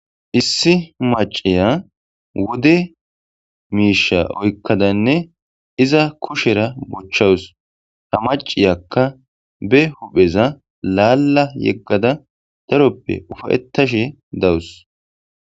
Issi maciya wude miisha oykkadanne iza kushera buchchawus ha maciyakka be hupheza laalla yeggada daroppe ufayettashe dawus.